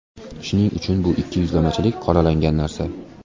Shuning uchun bu ikkiyuzlamachilik qoralangan narsa.